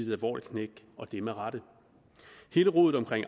et alvorligt knæk og det med rette hele rodet omkring